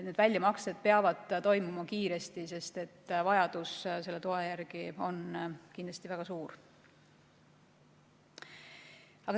Need väljamaksed peavad toimuma kiiresti, sest vajadus selle toe järele on kindlasti väga suur.